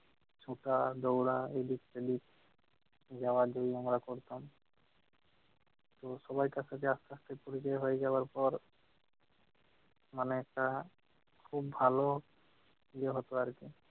ছোটা, দৌড়া এদিক-ওদিক, নেওয়া-দেওয়ি আমরা করতাম। তো সবার কাছে আসতে আসতে ছুটি হয়ে যাওয়ার পর মানে একটা খুব ভালো ইয়ে হত আর কি